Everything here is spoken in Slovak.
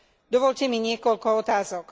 Dovoľte mi niekoľko otázok.